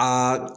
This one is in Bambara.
Aa